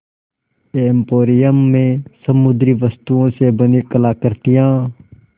emporium में समुद्री वस्तुओं से बनी कलाकृतियाँ